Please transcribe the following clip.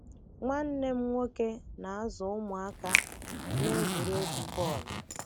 Nwanne m nwoke na-azụ ụmụaka n'egwuregwu bọọlụ.